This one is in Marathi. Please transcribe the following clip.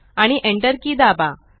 आणि Enter की दाबा